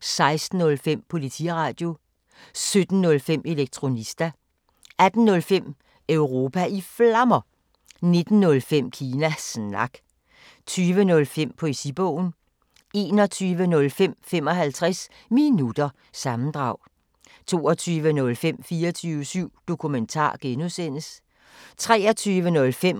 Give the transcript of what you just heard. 16:05: Politiradio 17:05: Elektronista 18:05: Europa i Flammer 19:05: Kina Snak 20:05: Poesibogen 21:05: 55 Minutter – sammendrag 22:05: 24syv Dokumentar (G) 23:05: